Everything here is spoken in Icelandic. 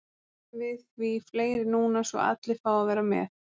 höfum við því fleiri núna svo allir fái að vera með